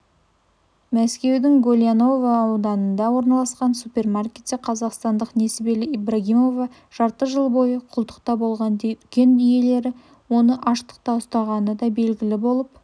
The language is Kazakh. мәскеудің гольяново ауданында орналасқан супермаркетте қазақстандық несібелі ибрагимова жарты жыл бойы құлдықта болған дүкен иелері оны аштықта ұстағаны да белгілі болып